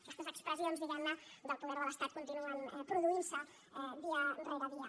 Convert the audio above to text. aquestes expressions diguem ne del poder de l’estat continuen produint se dia rere dia